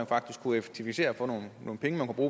faktisk kunne effektivisere og få nogle penge man